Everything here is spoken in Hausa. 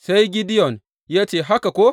Sai Gideyon ya ce, Haka ko?